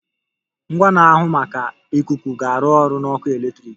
Ngwa na-ahụ maka ikuku ga-arụ ọrụ na ọkụ eletrik.